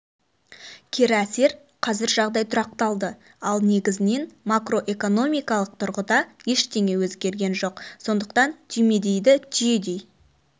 кері әсер қазір жағдай тұрақталды ал негізінен макроэконмикалық тұрғыда ештеңе өзгерген жоқ сондықтан түймедейді түйедей